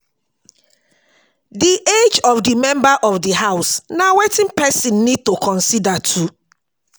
Di age of the member of di house na wetin person need to consider too